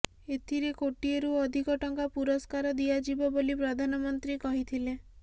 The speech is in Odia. ଏଥିରେ କୋଟିଏରୁ ଅଧିକ ଟଙ୍କା ପୁରସ୍କାର ଦିଆଯିବ ବୋଲି ପ୍ରଧାନମନ୍ତ୍ରୀ କହିଥିଲେ